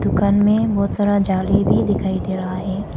दुकान में बहुत सारा जाली भी दिखाई दे रहा है।